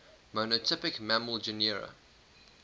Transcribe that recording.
monotypic mammal genera